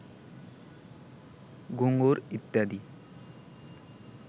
ঘুঙুর ইত্যাদি